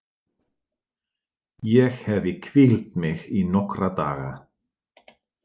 Ég hefi hvílt mig í nokkra daga.